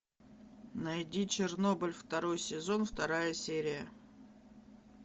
найди чернобыль второй сезон вторая серия